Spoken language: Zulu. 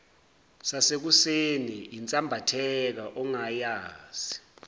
yasekuseni yinsambatheka ongayazi